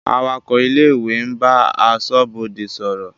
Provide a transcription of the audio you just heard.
Awakọ̀ ilé-ìwé ń bá aṣọ́bodè sọ̀rọ̀.